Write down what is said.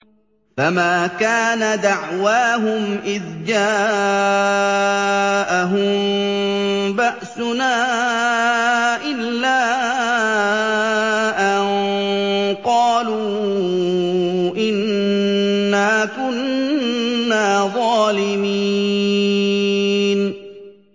فَمَا كَانَ دَعْوَاهُمْ إِذْ جَاءَهُم بَأْسُنَا إِلَّا أَن قَالُوا إِنَّا كُنَّا ظَالِمِينَ